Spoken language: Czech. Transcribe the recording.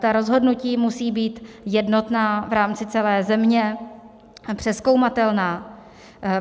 Ta rozhodnutí musí být jednotná v rámci celé země, přezkoumatelná.